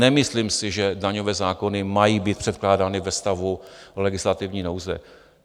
Nemyslím si, že daňové zákony mají být předkládány ve stavu legislativní nouze.